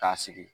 K'a sigi